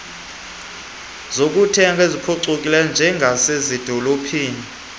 zokuthenga eziphucukileyo njengasezidolophini